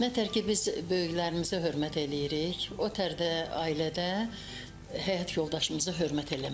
Nə tər ki, biz böyüklərimizə hörmət eləyirik, o tər də ailədə həyat yoldaşımıza hörmət eləməliyik.